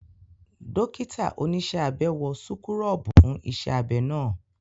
Dókítà oníṣẹ́ abẹ wọ súkúrọ́bù fún iṣẹ́ abẹ́ ná